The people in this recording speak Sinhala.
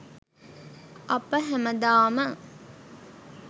අප හැමදාම